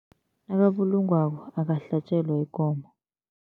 Nakabulungwako akahlatjelwa ikomo.